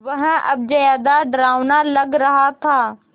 वह अब ज़्यादा डरावना लग रहा था